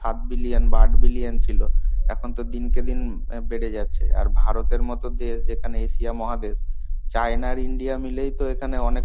সাত billion বা আঠ billion ছিলো. এখন তো দিনকে দিন বেড়ে যাচ্ছে. আর ভারতের মতো দেশ যেখানে Asia মহাদেশ China আর india মিলেই তো এখানে অনেক